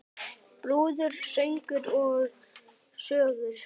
Brúður, söngur og sögur.